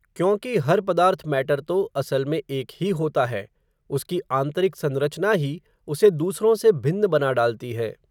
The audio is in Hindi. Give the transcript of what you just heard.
क्योंकि, हर पदार्थ मैटर तो, असल में एक ही होता है, उसकी आंतरिक संरचना ही, उसे दूसरों से भिन्न बना डालती है